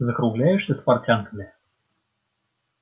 закругляешься с портянками